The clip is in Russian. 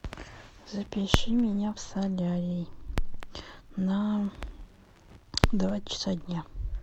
запиши меня в солярий на два часа дня